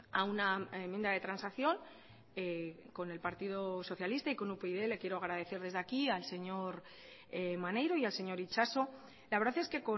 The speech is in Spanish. a una enmienda de transacción con el partido socialista y con upyd le quiero agradecer desde aquí al señor maneiro y al señor itxaso la verdad es que